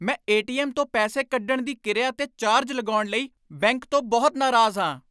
ਮੈਂ ਏ.ਟੀ.ਐੱਮ. ਤੋਂ ਪੈਸੇ ਕੱਢਣ ਦੀ ਕਿਰਿਆ 'ਤੇ ਚਾਰਜ ਲਗਾਉਣ ਲਈ ਬੈਂਕ ਤੋਂ ਬਹੁਤ ਨਾਰਾਜ਼ ਹਾਂ।